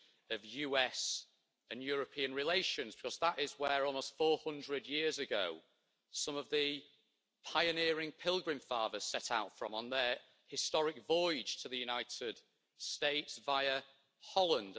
of US and European relations because they are where, almost 400 years ago, some of the pioneering Pilgrim Fathers set out from on their historic voyage to the United States, via Holland.